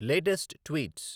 latest tweets